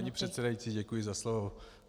Paní předsedající, děkuji za slovo.